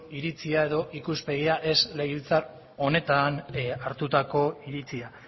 iritzia edo ikuspegia ez legebiltzar honetan hartutako iritzia